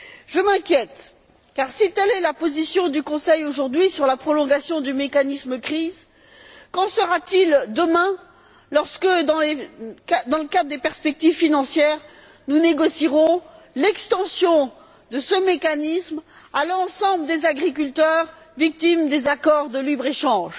Je m'inquiète car si telle est la position du Conseil, aujourd'hui, sur la prolongation du mécanisme de crise, qu'en sera t il demain lorsque, dans le cadre des perspectives financières, nous négocierons l'extension de mécanismes à l'ensemble des agriculteurs victimes des accords de libre échange?